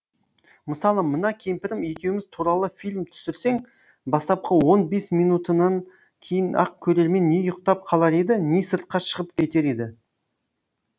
мысалы мына кемпірім екеуіміз туралы фильм түсірсең бастапқы он бес минутынан кейін ақ көрермен не ұйықтап қалар еді не сыртқа шығып кетер еді